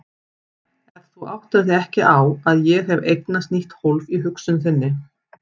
En þú áttar þig ekki á að ég hef eignast nýtt hólf í hugsun þinni.